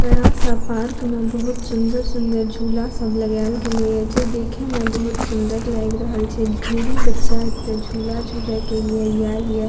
बड़ा-सा पार्क में बहुत सुन्दर-सुन्दर झूला सब लगायल गेले ये जे देखे में बहुत सुन्दर लाएग रहल छै ढ़ेरी बच्चा एता झूला झूले के लिए याएल ये।